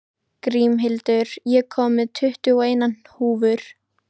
Grímhildur, ég kom með tuttugu og eina húfur!